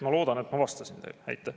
Ma loodan, et ma vastasin teile.